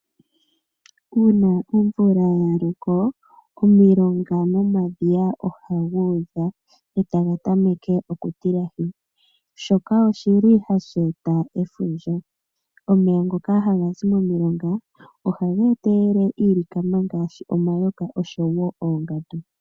Uuna omvula ya loko omilonga nomadhiya ohadhu udha etaga tameke oku tilahi shoka oshili hashi eta efundja. Omeya ngoka hagazi momilonga ohaga etelele iilikama ngaashi omayoka oshowo oongandu.